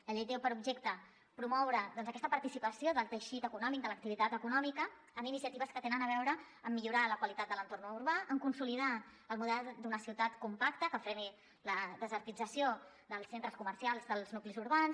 la llei té per objecte promoure aquesta participació del teixit econòmic de l’activitat econòmica en iniciatives que tenen a veure amb millorar la qualitat de l’entorn urbà amb consolidar el model d’una ciutat compacta que freni la desertització dels centres comercials dels nuclis urbans